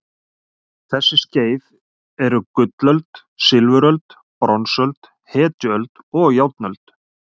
Þessi skeið eru gullöld, silfuröld, bronsöld, hetjuöld og járnöld.